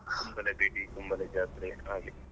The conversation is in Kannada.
Kumble ಬೆಡಿ Kumble ಜಾತ್ರೆ ಹಾಗೆ.